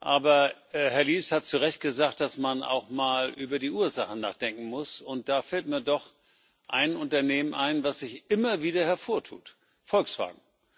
Aber Herr Liese hat zu Recht gesagt, dass man auch mal über die Ursachen nachdenken muss. Da fällt mir doch ein Unternehmen ein, das sich immer wieder hervortut Volkswagen.